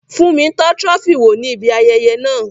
Fúnmi tọ́ Trophy wò ní ibi ayẹyẹ náà